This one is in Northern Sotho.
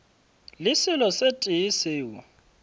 le selo se tee seo